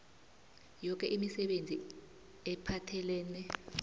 yoke imisebenzi ephathelene